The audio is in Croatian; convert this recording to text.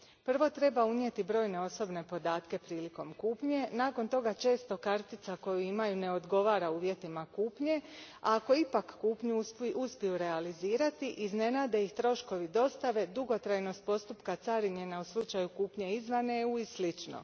Prvo treba unijeti brojne osobne podatke prilikom kupnje, nakon toga često kartica koju imaju ne odgovara uvjetima kupnje, a ako ipak kupnju uspiju realizirati, iznenade ih troškovi dostave, dugotrajnost postupka carinjenja u slučaju kupnje izvan EU a i slično.